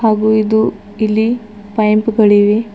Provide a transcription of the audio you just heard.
ಹಾಗೂ ಇದು ಇಲ್ಲಿ ಪೈಂಪ್ ಗಳಿವೆ.